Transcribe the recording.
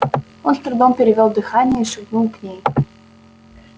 он с трудом перевёл дыхание и шагнул к ней